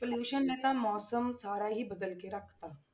Pollution ਨੇ ਤਾਂ ਮੌਸਮ ਸਾਰਾ ਹੀ ਬਦਲ ਕੇ ਰੱਖ ਦਿੱਤਾ।